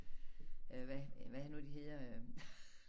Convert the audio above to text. Øh hvad hvad er det nu de hedder øh